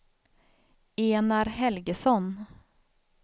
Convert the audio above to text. Enar Helgesson